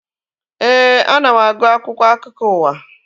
Éè, ana m agụ akwụkwọ akụkọ ụwa